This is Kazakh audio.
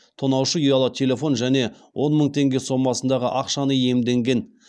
тонаушы ұялы телефон және он мың теңге сомасындағы ақшаны иемденген